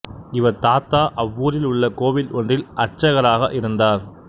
இவர் தாத்தா அவ்வூரில் உள்ள கோவில் ஒன்றில் அர்ச்சகராக இருந்தார்